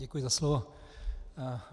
Děkuji za slovo.